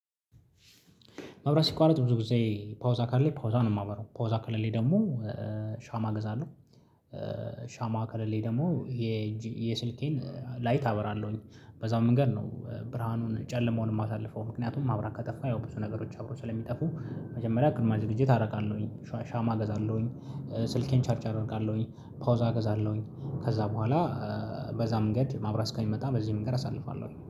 መብራት ሲቋረጥ ብዙ ጊዜ ፓውዛ ካለ ፓውዛ ነው የማበረው ፓውዛ ከሌለ ደግሞ ሻማ ገዛለሁ። ሻማ ከሌለኝ ደግሞ የስልኬን ላይት አበራለሁኝ። በዛው መንገድ ነው ብርሃኑን ጨለማውን የማሳልፈው። ምክንያቱም መብራት ከጠፋ ያው ብዙ ነገሮች አብረው ስለሚጠፉ መጀመሪያ ቅድመ ዝግጅት አደርጋለሁኝ። ሻማ አገዛለሁኝ። ስልኬን ቻርጅ አደርጋለሁኝ ፓውዛ እገዛለሁኝ። ከዛ በኋላ በዛ መንገድ ማብራት እስከሚመጣ በዚህ መንገድ አሳልፋለሁ